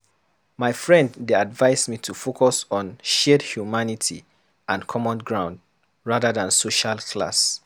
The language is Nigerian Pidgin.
My friend dey advise me to focus on shared humanity and common ground, rather than social class.